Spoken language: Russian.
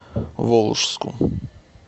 волжску